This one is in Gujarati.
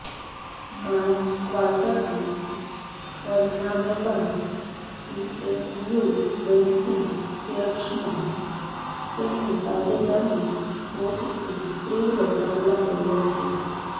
માર્ચ ક્વાર્ટરનાં પરિણામો બાદ પીએસયુ બેંકિંગ શેર્સમાં તેમની તાજેતરની ટોચથી તીવ્ર ગાબડાં પડ્યાં છે